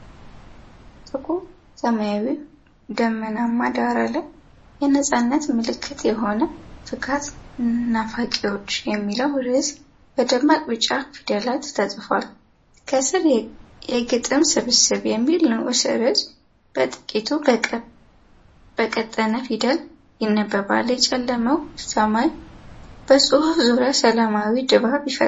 ጥቁር ሰማያዊ ደመናማ ዳራ ላይ፣ የነፃነት ምልክት የሆነው “ፍካት ናፋቂዎች” የሚለው ርዕስ በደማቅ ቢጫ ፊደላት ተጽፏል። ከስር፣ “የግጥም ስብስብ” የሚል ንዑስ ርዕስ በጥቂቱ በቀጠነ ፊደል ይነበባል። የጨለመው ሰማይ በጽሁፉ ዙሪያ ሰላማዊ ድባብ ይፈጥራል።